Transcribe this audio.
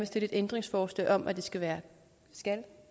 stille et ændringsforslag om at det skal være en skal